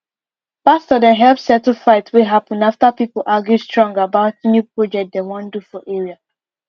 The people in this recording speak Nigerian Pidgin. pastor dem help settle fight wey happen after people argue strong about new project dem wan do for area